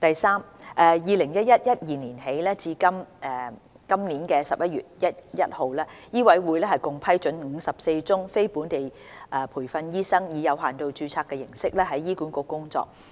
三自 2011-2012 年度起至今年11月1日，醫委會共批准54宗非本地培訓醫生以有限度註冊形式在醫管局工作。